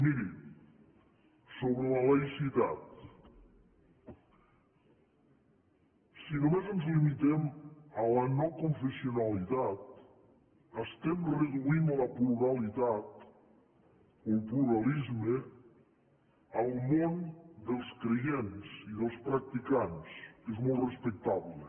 miri sobre la laïcitat si només ens limitem a la noconfessionalitat estem reduint la pluralitat o el pluralisme al món dels creients i dels practicants que és molt respectable